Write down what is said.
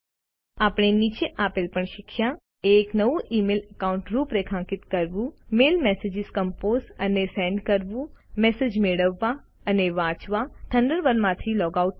આપણે નીચે આપેલ પણ શીખ્યા એક નવું ઇમેઇલ એકાઉન્ટ રૂપરેખાંકિત કરવું મેલ મેસેજીસ કંપોઝ અને સેન્ડ કરવું મેસેજ મેળવવા અને વાંચવા થન્ડરબર્ડમાંથી લૉગ આઉટ થવું